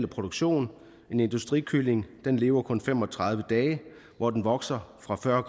produktion en industrikylling lever kun i fem og tredive dage hvor den vokser fra fyrre